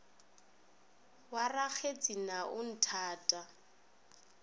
wa rakgetse na o nthata